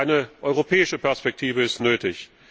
Eine europäische Perspektive ist nötig.